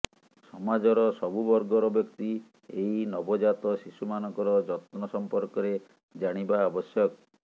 ସମାଜର ସବୁ ବର୍ଗର ବ୍ୟକ୍ତି ଏହି ନବଜାତ ଶିଶୁମାନଙ୍କର ଯତ୍ନ ସମ୍ପର୍କରେ ଜାଣିବା ଆବଶ୍ୟକ